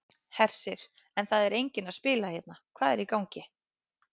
Hersir: En það er enginn að spila hérna, hvað er í gangi?